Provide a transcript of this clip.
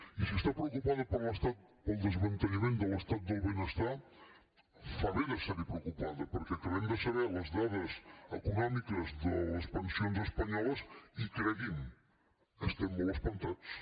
i si està preocupada pel desmantellament de l’estat del benestar fa bé d’estar hi preocupada perquè acabem de saber les dades econòmiques de les pensions espanyoles i cregui’m estem molt espantats